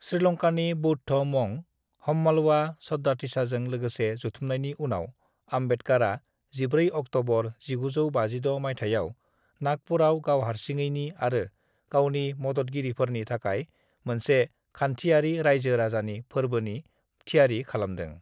"श्रीलंकानि बौद्ध' मंक हम्मालवा सद्दातिसाजों लोगोसे जथुमनायनि उनाव, आम्बेडकरआ 14 अक्टबर 1956 मायथाइयाव नागपुरआव गावहारसिङैनि आरो गावनि मददगिरिफोरनि थाखाय मोनसे खानथियारि रायजो राजानि फोरबोनि थियारि खालामदों।"